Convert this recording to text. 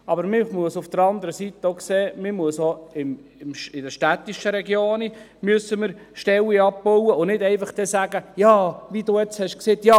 Man muss auf der anderen Seite auch sehen, dass man auch in den städtischen Regionen Stellen abbauen muss, und nicht einfach wie Grossrätin Stucki sagen darf: